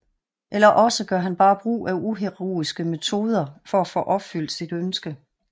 Eller også gør han bare brug af uheroiske metoder for at få opfyldt sit ønske